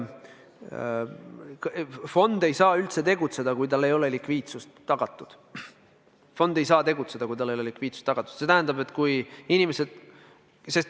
Fond ei saa üldse tegutseda, kui tal ei ole likviidsus tagatud.